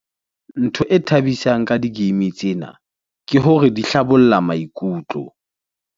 Ntho e thabisang ka di-game tsena ke hore di hlabolla maikutlo.